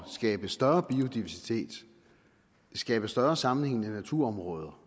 skabe større biodiversitet skabe større sammenhængende naturområder